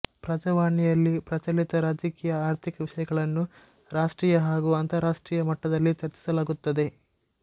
ಪ್ರಜಾವಾಣಿಯಲ್ಲಿ ಪ್ರಚಲಿತ ರಾಜಕೀಯ ಆರ್ಥಿಕ ವಿಷಯಗಳನ್ನು ರಾಷ್ಟ್ರೀಯ ಹಾಗೂ ಅಂತರರಾಷ್ಟ್ರೀಯ ಮಟ್ಟದಲ್ಲಿ ಚರ್ಚಿಸಲಾಗುತ್ತದೆ